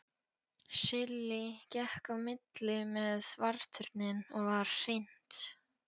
Silli gekk á milli með Varðturninn og var hrint.